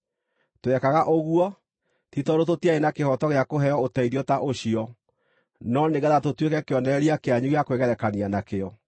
Twekaga ũguo, ti tondũ tũtiarĩ na kĩhooto gĩa kũheo ũteithio ta ũcio, no nĩgeetha tũtuĩke kĩonereria kĩanyu gĩa kwĩgerekania nakĩo.